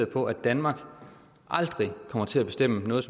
på at danmark aldrig kommer til at bestemme noget